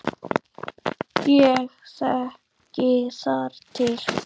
Ég þekki þar til.